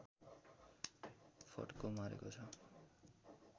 फड्को मारेको छ